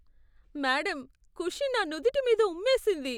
Madam, Khushi నా నుదుటి మీద ఉమ్మేసింది.